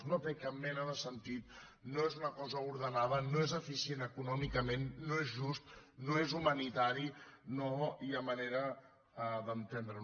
no té cap mena de sentit no és una cosa ordenada no és eficient econòmicament no és just no és humanitari no hi ha manera d’entendreho